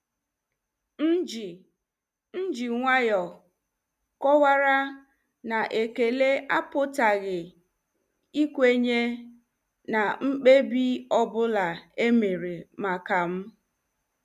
M ji M ji nwayọọ kọwara na ekele apụtaghị ikwenye na mkpebi ọ bụla e mere maka m.